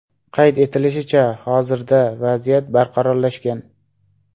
Qayd etilishicha, hozirda vaziyat barqarorlashgan.